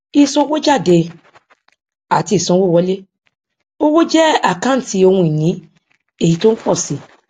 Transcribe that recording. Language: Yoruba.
ìsanwójáde àti ìsanwówọlé owó jẹ àkántì ohun ìní èyí tó ń pò si